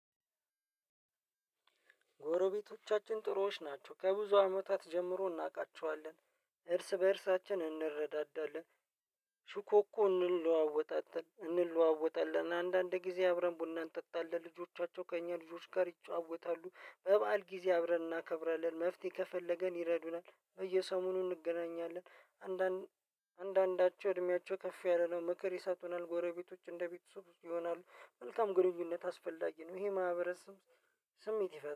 ጎረቤቶቻችን ጥሩዎች ናቸው ከብዙ አመታት ጀምሮ እናውቃቸዋለን እርስ በእርሳችን እንረዳዳለን። ሹኮኮ እንለዋወጣጠን እንለዋወጣለን አንዳንድ ጊዜ አብረን ቡናን ጠጣለን ልጆቻቸው ከእኛ ልጆች ጋር ይጫወታሉ። በበዓል ጊዜ አብረን እናከብራለን መፍትሄ ከፈለገን ይረዱናል በየሰሞኑ እንገናኛለን። አንዳንዳቸው እድሜያቸው ከፍ ያለ ነው ምክር ይሰጡናል ጎረቤቶች እንደ ቤተሰብ ይሆናሉ። መልካም ግንኙነት አስፈላጊ ነው ይሄ ማህበረሰብ። ስሜት ይፈጥራል